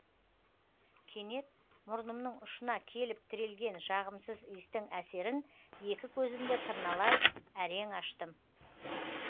кенет мұрнымың ұшына келіп тірелген жағымсыз иістің әсерін екі көзімді тырналай әрең аштым